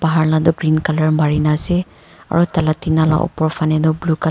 bahar la toh green color marina ase aro taila tina la upor faney tu blue color .